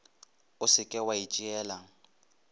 o se ke wa itšeela